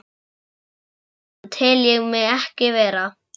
Slíkan mann tel ég mig ekki vera.